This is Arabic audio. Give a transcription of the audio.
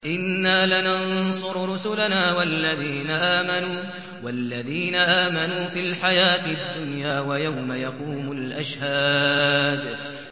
إِنَّا لَنَنصُرُ رُسُلَنَا وَالَّذِينَ آمَنُوا فِي الْحَيَاةِ الدُّنْيَا وَيَوْمَ يَقُومُ الْأَشْهَادُ